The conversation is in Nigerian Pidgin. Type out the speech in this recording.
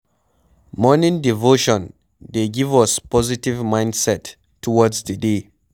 Morning devotion dey give us positive mindset towards di day